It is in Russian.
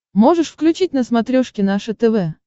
можешь включить на смотрешке наше тв